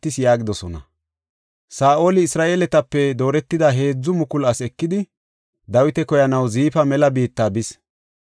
Saa7oli, Isra7eeletape dooretida heedzu mukulu asi ekidi, Dawita koyanaw Ziifa mela biitta bis.